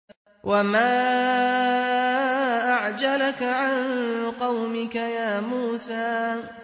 ۞ وَمَا أَعْجَلَكَ عَن قَوْمِكَ يَا مُوسَىٰ